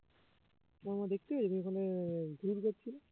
তোমার মা দেখতে পেয়েছে তুমি ঘুরঘুর করছিলে